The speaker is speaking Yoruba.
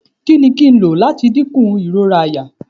Kini kín lo m lati dinku irora àyà?